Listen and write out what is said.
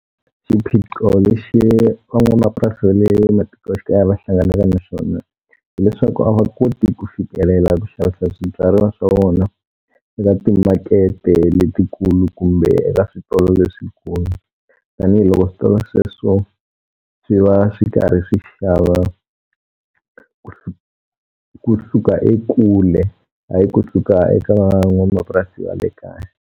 Xiphiqo lexi van'wamapurasi va le matikoxikaya va hlanganaka na xona hileswaku a va koti ku fikelela ku xavisa swibyariwa swa vona eka timakete letikulu kumbe eka switolo leswikulu. Tanihi loko switolo sweswo swi va swi karhi swi xava kusuka ekule, hayi kusuka eka van'wamapurasi va le kaya.